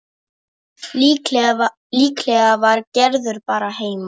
Líklega var Gerður bara heima.